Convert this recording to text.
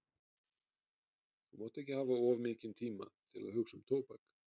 Þú mátt ekki hafa of mikinn tíma til að hugsa um tóbak.